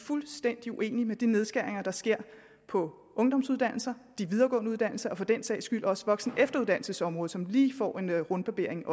fuldstændig uenige i de nedskæringer der sker på ungdomsuddannelserne de videregående uddannelser og for den sags skyld også voksenefteruddannelsesområdet som også lige får en rundbarbering